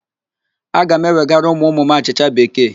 Aga m ewegara ụmụụmụ m achịcha Bekee